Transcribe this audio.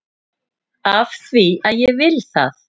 AF ÞVÍ AÐ ÉG VIL ÞAÐ!